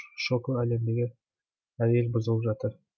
шоко әлемдегі әр ел бұзылып жатыр